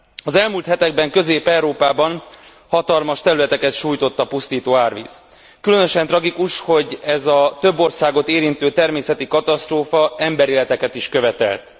Az elmúlt hetekben Közép Európában hatalmas területeket sújtott a pusztító árvíz. Különösen tragikus, hogy ez a több országot érintő természeti katasztrófa emberéleteket is követelt.